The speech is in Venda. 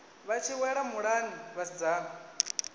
vha tshi wela muḽani vhasidzana